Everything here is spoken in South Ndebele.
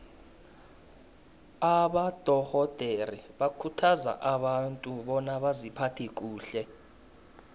abadorhodere bakhuthaza abantu bona baziphathe kuhle